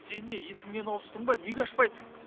сен не есіңнен ауыстың ба неге ашпайсың